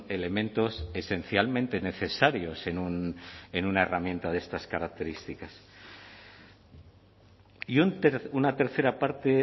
elementos esencialmente necesarios en una herramienta de estas características y una tercera parte